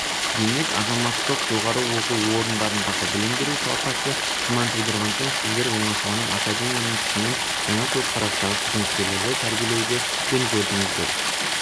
демек азаматтық жоғарғы оқу орындарындағы білім беру сапасы күмән тудырған соң сіздер оңашаланып академияның күшімен жаңа көзқарастағы қызметкерлерді тәрбиелеуді жөн көрдіңіздер